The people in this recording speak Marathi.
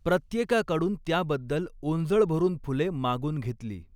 प्रत्येकाकडून त्याबद्दल ओंजळ भरून फुले मागून घेतली.